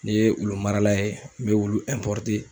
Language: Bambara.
Ne ye wulu marala ye ,n be wulu